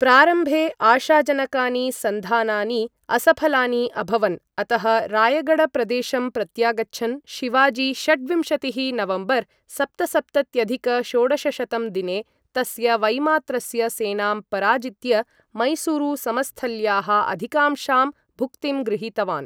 प्रारम्भे आशाजनकानि सन्धानानि असफलानि अभवन्, अतः रायगढ प्रदेशं प्रत्यागच्छन् शिवाजी, षड्विंशतिः नवम्बर् सप्तसप्तत्यधिक षोडशशतं दिने तस्य वैमात्रस्य सेनां पराजित्य मैसूरु समस्थल्याः अधिकांशां भुक्तिं गृहीतवान्।